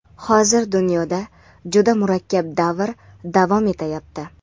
Hozir dunyoda juda murakkab davr davom etayapti.